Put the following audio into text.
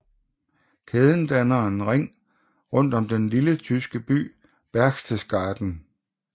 Kæden danner en ring rundt om den lille tyske by Berchtesgaden